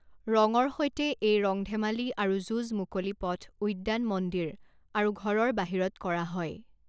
ৰঙৰ সৈতে এই ৰং ধেমালি আৰু যুঁজ মুকলি পথ উদ্যান মন্দিৰ আৰু ঘৰৰ বাহিৰত কৰা হয়।